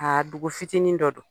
A dugu fitinin dɔ don.